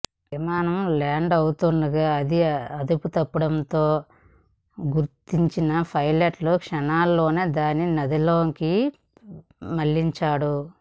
విమానం ల్యాండ్ అవుతుండగా అదుపుతప్పుతున్నట్టు గుర్తించిన పైలట్ క్షణాల్లోనే దానిని నదిలోకి మళ్లించాడు